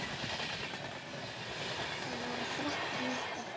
Það voru þrettán eftir!